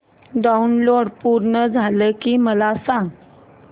download पूर्ण झालं की मला सांग